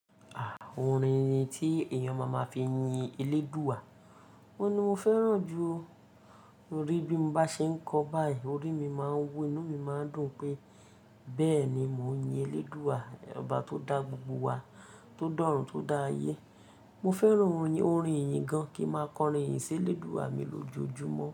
Orin tí èyàn máa máa fi yin Elédùwà, òun ni mo fẹ́ràn jù. Torí bí mo bá ṣe ń kọ báyìí, orí mi máa ń wú, inú mi máa ń dùn pé bẹ́ẹ̀ ni mò ń yin Elédùwà, ọba tó da gbogbo wa, tó dọ̀rùn, tó dá ayé. Mo fẹ́ràn orin, orin ìyìn gan-an kí n máa kọrin ìyìn sí Elédùwà mi lójoojúmọ́.